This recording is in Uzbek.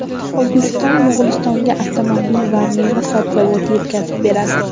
O‘zbekiston Mo‘g‘ulistonga avtomobil va meva-sabzavot yetkazib beradi.